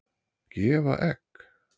Gefa egg?